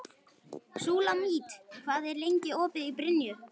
Súlamít, hvað er lengi opið í Brynju?